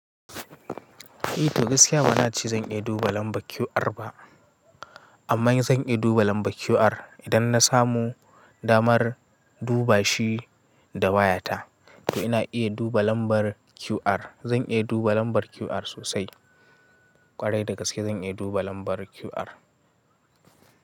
Eh to gaskiya bana ce zan iya duba lambar QR ba. Amma zan iya duba lambar QR idan na samu damar duba shi da wayata. To ina iya duba lambar QR. Zan iya duba lambar QR sosai. Kwarai da gaske zan iya duba lambar QR.